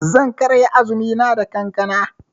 Zan karya azumina da kankana.